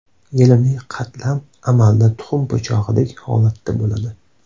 Yelimli qatlam amalda tuxum po‘chog‘idek holatda bo‘ladi.